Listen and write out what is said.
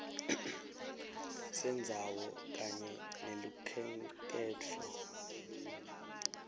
sendzawo kanye nelukhenkhetfo